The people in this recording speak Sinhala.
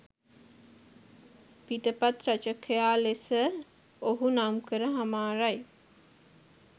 පිටපත් රචකයා ලෙස ඔහු නම්කර හමාරයි.